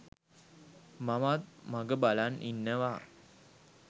මමත් මග බලන් ඉන්නවා.